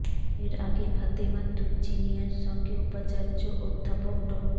এর আগে ফাতেমা তুজ জিনিয়ার সঙ্গে উপাচার্য অধ্যাপক ড